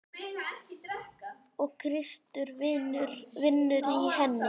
Og Kristur vinnur í henni.